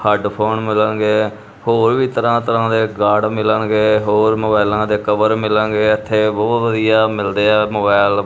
Headphone ਮਿਲਣਗੇ। ਹੋਰ ਵੀ ਤਰਾਂ-ਤਰਾਂ ਦੇ ਗਾਡ ਮਿਲਣਗੇ ਹੋਰ ਮੋਬਾਇਲਾਂ ਦੇ ਕਵਰ ਮਿਲਾਂਗੇ । ਇਥੇ ਬਹੁਤ ਵਧੀਆ ਮਿਲਦੇ ਆ ਮੋਬਾਇਲ ।